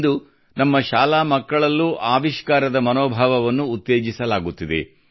ಇಂದು ನಮ್ಮ ಶಾಲಾ ಮಕ್ಕಳಲ್ಲೂ ಆವಿಷ್ಕಾರದ ಮನೋಭಾವವನ್ನು ಉತ್ತೇಜಿಸಲಾಗುತ್ತಿದೆ